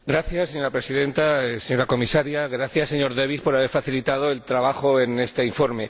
Señora Presidenta, señora Comisaria, gracias, señor Davies, por haber facilitado el trabajo en este informe.